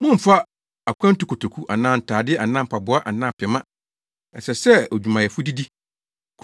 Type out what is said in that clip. Mommmfa akwantukotoku anaa ntade anaa mpaboa anaa pema. Ɛsɛ sɛ odwumayɛni didi.